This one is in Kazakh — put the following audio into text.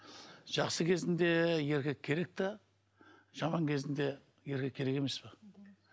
жақсы кезінде еркек керек те жаман кезінде еркек керек емес пе